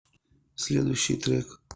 следующий трек